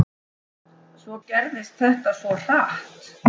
Svo gerðist þetta svo hratt.